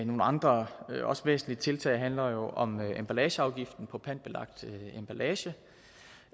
nogle andre også væsentlige tiltag handler om emballageafgiften på pantbelagt emballage